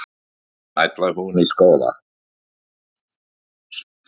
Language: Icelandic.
Ætlar hún í skóla.